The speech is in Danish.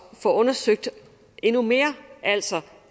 får undersøgt endnu mere altså